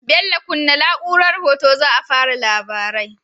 Bello kunna na'urar hoto za a fara labarai